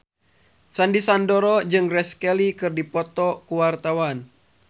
Sandy Sandoro jeung Grace Kelly keur dipoto ku wartawan